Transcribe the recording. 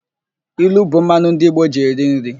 Ilu bụ mmanụ ndị Igbo ji eri nri.